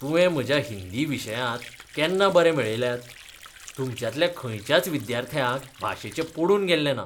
तुवें म्हज्या हिंदी विशयांत केन्ना बरे मेळयल्यात? तुमच्यांतल्या खंयच्याच विद्यार्थ्याक भाशेचें पडून गेल्लें ना.शिक्षक